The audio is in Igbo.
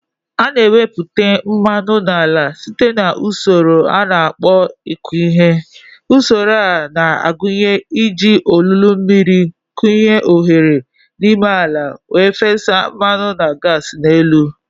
A na-ewepụta mmanụ n'ala site na usoro a na-akpọ ịkụ ihe. Usoro a na-agụnye iji olulu mmiri kụnye oghere n'ime ala wee fesa mmanụ na gas n'elu.